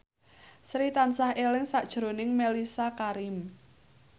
Sri tansah eling sakjroning Mellisa Karim